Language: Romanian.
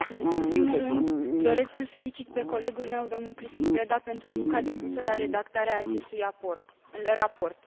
În primul rând, doresc să îl felicit pe colegul meu, domnul Cristian Preda, pentru munca depusă la redactarea acestui raport.